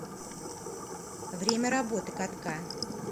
время работы катка